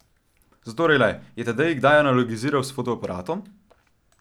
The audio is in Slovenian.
Zatorej le, je Tadej kdaj analogiziral s fotoaparatom?